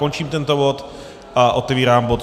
Končím tento bod a otevírám bod